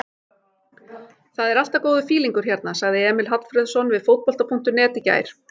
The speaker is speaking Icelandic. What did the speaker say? Það er alltaf góður fílingur hérna, sagði Emil Hallfreðsson við Fótbolta.net í gær.